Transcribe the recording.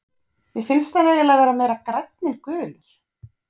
Mér finnst hann eiginlega vera meira grænn en gulur.